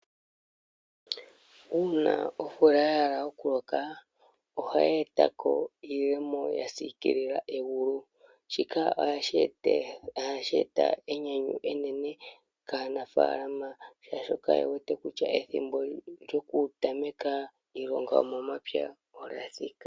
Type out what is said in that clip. Uuna omvula yahala okuloka ohayi etako iiyemo yasiikilila egulu shika ohashi eta enyanyu enene kaanafaalama shaashola yewete kutya ethimbo lyokutameka iilonga yomomapya lyathika.